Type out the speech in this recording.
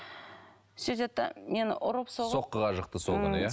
сөйтеді де мені ұрып соққыға жықты сол күні иә